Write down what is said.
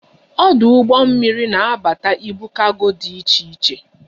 Ọdụ ụgbọ mmiri na abata ibu kargo dị iche iche